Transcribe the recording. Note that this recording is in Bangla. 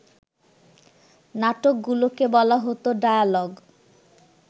নাটকগুলোকে বলা হত ডায়ালগ